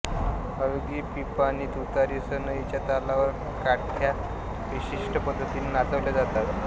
हलगी पिपाणी तुतारी सनईच्या तालावर काठ्या विशिष्ट पद्धतीने नाचविल्या जातात